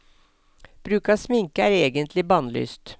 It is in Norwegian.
Bruk av sminke er egentlig bannlyst.